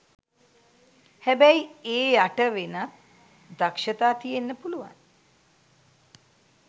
හැබැයි ඒ යට වෙනත් දක්ෂතා තියෙන්න පුළුවන්.